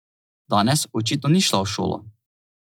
Danes očitno ni šla v šolo.